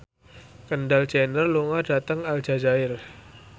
Kendall Jenner lunga dhateng Aljazair